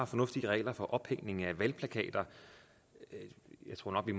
fornuftige regler for ophængning af valgplakater jeg tror nok at